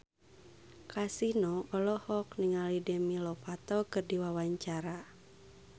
Kasino olohok ningali Demi Lovato keur diwawancara